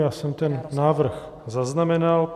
Já jsem ten návrh zaznamenal.